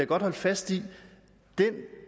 godt holde fast i at den